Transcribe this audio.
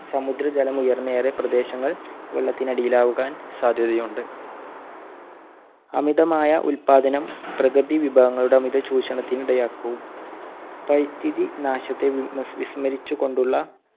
സമുദ്രജലം ഉയർന്ന് ഏറെ പ്രദേശങ്ങൾ വെള്ളത്തിനടിയിൽ ആകുവാൻ സാധ്യതയുണ്ട്. അമിതമായ ഉൽപാദനം പ്രകൃതി വിഭവങ്ങളുടെ അമിത ചൂഷണത്തിന് ഇടയാക്കും. പരിസ്ഥിതി നാശത്തെ വി~വിസ്~വിസ്മരിച്ചുകൊണ്ടുള്ള